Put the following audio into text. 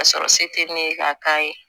Ka sɔrɔ se tɛ ne ye ka k'a ye